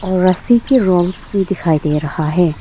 रस्सी के रूम भी दिखाई दे रहा है।